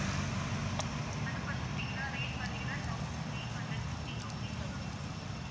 அது பாத்தீங்கன்னா rate பாத்தீங்கன்னா thousand three hundred fifty something ல வரும் ma'am